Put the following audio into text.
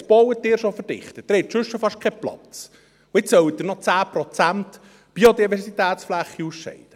Jetzt bauen Sie schon verdichtet, Sie haben sonst schon fast keinen Platz, und jetzt sollen Sie auch noch 10 Prozent Biodiversitätsfläche ausscheiden.